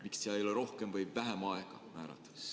Miks ei ole rohkem või vähem aega määratud?